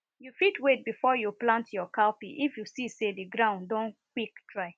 you fit wait before you plant your cowpea if you see sey the ground don quick dry